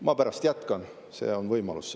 " Ma pärast jätkan, mul on see võimalus.